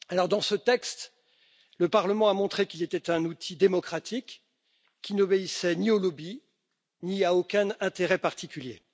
Dans ce texte, le Parlement a montré qu'il était un outil démocratique, qui n'obéissait ni aux lobbies ni à aucun intérêt particulier.